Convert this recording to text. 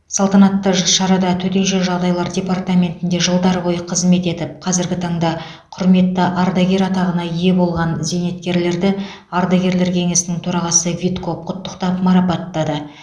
салтанатты шарада төтенше жағдайлар департаментінде жылдар бойы қызмет етіп қазіргі таңда құрметті ардагер атағына ие болған зейнеткерлерді ардагерлер кеңесінің төрағасы витков құттықтап марапаттады